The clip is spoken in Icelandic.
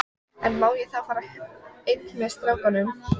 En má ég þá fara einn með strákunum?